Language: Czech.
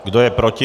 Kdo je proti?